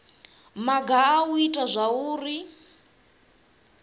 maga a u ita zwauri